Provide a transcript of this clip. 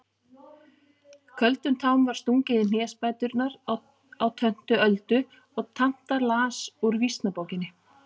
Köldum tám var stungið í hnésbæturnar á töntu Öldu og tanta las úr Vísnabókinni.